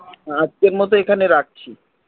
এখানে রাখছি